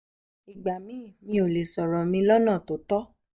ìgbà míì mi ò lè sọ̀rọ̀ mi lọ́nà tó tọ́